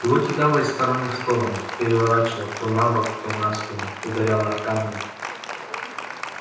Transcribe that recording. его кидало из стороны в сторону переворачивало то на бок то на спину ударяло о камни